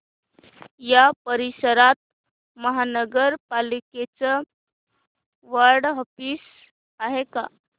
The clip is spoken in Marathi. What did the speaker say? या परिसरात महानगर पालिकेचं वॉर्ड ऑफिस आहे का